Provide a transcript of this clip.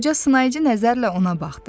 Qoca sınayıcı nəzərlə ona baxdı.